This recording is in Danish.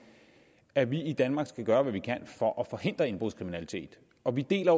at vi i danmark skal gøre hvad vi kan for at forhindre indbrudskriminalitet og vi deler